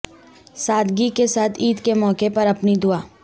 سادگی کے ساتھ عید کے موقع پر اپنی دعا